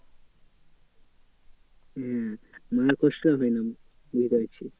হ্যাঁ মায়ের কষ্ট হবে না বুঝতে পেরেছি।